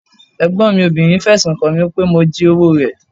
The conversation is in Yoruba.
Ẹ̀gbọ́n mi obìnrin fẹ̀sùn kan mi pé mo jí owó rẹ̀.